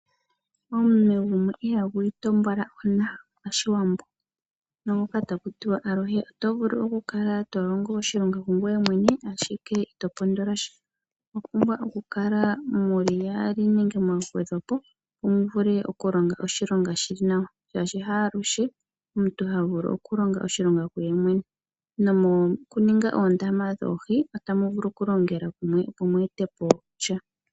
Omunwe gumwe ihagu itompola ona pashiwambo. Oto vulu oku kala to longo oshilonga ongoye awike ashike ito pondola sha, omwa pumbwa oku kala mu li yaali opo mu vule oku longa oshilonga shi li nawa shaashi haaluhe omuntu ha vulu okulonga oshilonga kuyemwene, nomokuninga oondama dhoohi otamu vulu oku longela kumwe opo mu e te po sha.